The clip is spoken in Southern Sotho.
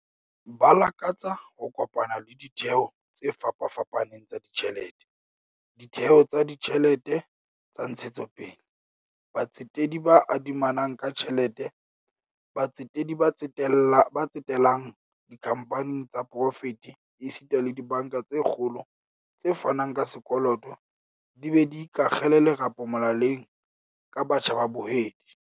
Ba lakatsa ho kopana le ditheo tse fapafapaneng tsa ditjhelete, ditheo tsa ditjhelete tsa ntshetsopele, batsetedi ba adimanang ka tjhelete, batsetedi ba tsetelang dikhamphaneng tsa poraefete esita le dibanka tse kgolo tse fanang ka sekoloto di be di ikakgele lerapo molaleng ka batjha ba bahwebi.